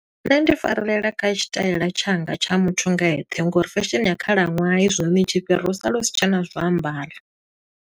Nṋe ndi farela kha tshitaela tshanga tsha muthu nga eṱhe, ngo uri fashion ya khalaṅwaha hezwinoni i tshi fhira u sala u si tshena zwo ambara.